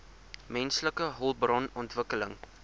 menslike hulpbron ontwikkeling